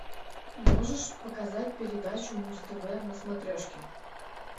можешь показать передачу муз тв на смотрешке